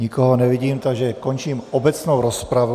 Nikoho nevidím, takže končím obecnou rozpravu.